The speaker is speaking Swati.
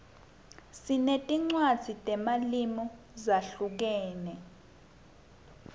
sinetinwadzi temalimu zahlukeme